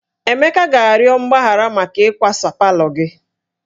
Emeka ga-arịọ mgbaghara maka ịkwasa palọ gị